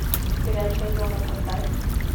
горячая зона поставь